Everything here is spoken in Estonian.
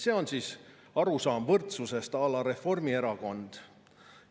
Selline on arusaam võrdsusest à la Reformierakond.